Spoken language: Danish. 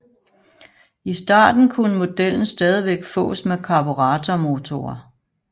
I starten kunne modellen stadigvæk fås med karburatormotorer